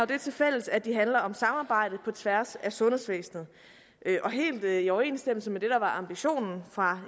det tilfælles at de handler om samarbejde på tværs af sundhedsvæsenet og helt i overensstemmelse med det der var ambitionen fra